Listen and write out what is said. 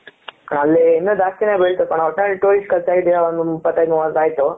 ಅಲ್ಲಿ ಇನ್ನು ಜಾಸ್ತಿನೆ ಬಿಳ್ತು ಕಣೋ ಒಟ್ನಲ್ಲಿ tourist ಗಾಲ side ಇಂದ ಒಂದು ಇಪತು ಐದು ಮುವತು ಅಯ್ತು